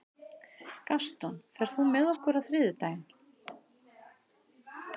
Gaston, ferð þú með okkur á þriðjudaginn?